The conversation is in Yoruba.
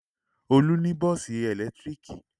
Olú ní bọ́ọ́sì ẹ̀lẹ́tíríkì.